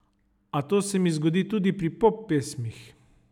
A to se mi zgodi tudi pri pop pesmih.